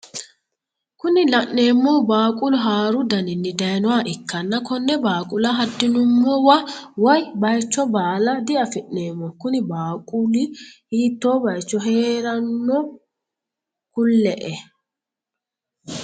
Kuni la'neemohu baaqulu haaru dannini dayiinoha ikkanna konne baaqula hadi'nummowa woye bayicho baala diafi'neemo. kuni baaquli hiitoo bayiicho heeranno? Kuli"e.